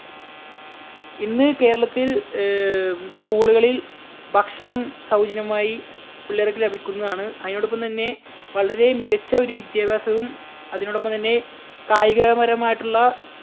ഇന്ന് കേരളത്തിൽ ഏർ school കളിൽ ഭക്ഷണം സൗജന്യമായി പിള്ളേർക്ക് ലഭിക്കുന്നതാണ്. അതിനോടൊപ്പം തന്നെ വളരെ മികച്ച ഒരു വിദ്യാഭ്യാസവും അതിനോടൊപ്പം തന്നെ കായികപരമായിട്ടുള്ള